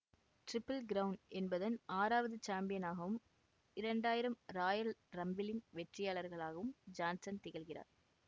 triple crown என்பதன் ஆறாவது சாம்பியனாகவும் இரண்டு ஆயிரம் ராயல் ரம்பிளின் வெற்றியாளராகவும் ஜான்சன் திகழ்கிறார்